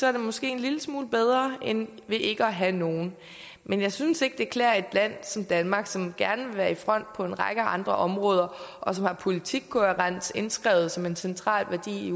er det måske en lille smule bedre end ikke at have nogen men jeg synes ikke det klæder et land som danmark som gerne vil være i front på en række andre områder og som har politikkohærens indskrevet som en central værdi